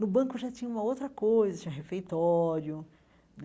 No banco já tinha uma outra coisa, tinha refeitório né.